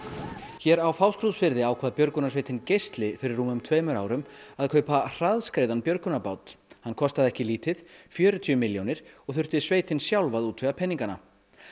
hér á Fáskrúðsfirði ákvað björgunarsveitin geisli fyrir rúmum tveimur árum að kaupa hraðskreiðan björgunarbát hann kostaði ekki lítið fjörutíu milljónir og þurfti sveitin sjálf að útvega peningana